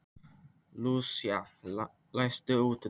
Lúsía, læstu útidyrunum.